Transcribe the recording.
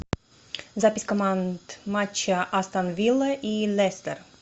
запись команд матча астон виллы и лестер